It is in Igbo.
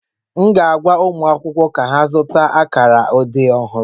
M ga-agwa ụmụ akwụkwọ ka ha zụta akara odee ọhụrụ